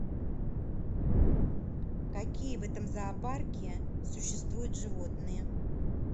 какие в этом зоопарке существуют животные